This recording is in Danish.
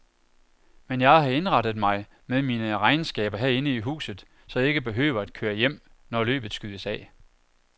Men jeg har indrettet mig med mine regnskaber herinde i huset, så jeg ikke behøver at køre hjem, når løbet skydes af.